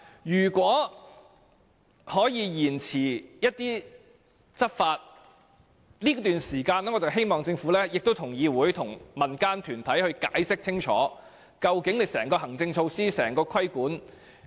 如果可以延遲執法，我希望政府在這段時間內向議會和民間團體清楚解釋相關的行政措施，以及如何執行規管。